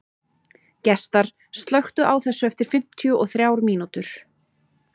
Gestar, slökktu á þessu eftir fimmtíu og þrjár mínútur.